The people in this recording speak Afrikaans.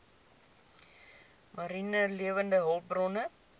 mariene lewende hulpbronne